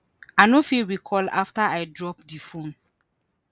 “i no fit recall afta i drop di phone.